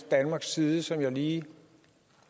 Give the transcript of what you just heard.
danmarks side som jeg lige